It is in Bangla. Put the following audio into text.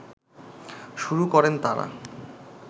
শুরু করেন তারা